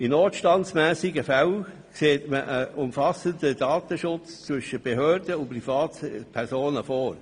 In notstandsmässigen Fällen sieht man einen umfassenden Datenaustausch zwischen Behörden und Privatpersonen vor.